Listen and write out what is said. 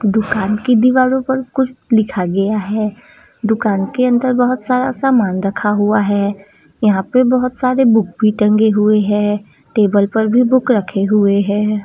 दुकान की दीवार पर कुछ लिखा गया है दुकान के अंदर बहुत सारा सामान रखा हुआ है यहां पर भी किताबें टंगी हैं टेबल पर भी बुक रखी हैं।